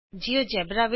ਸਾਥੀਉ ਨਮਸਕਾਰ